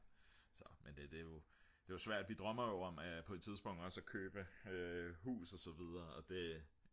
så men det er jo svært vi drømmer jo om på et tidspunkt også at købe hus og så videre og det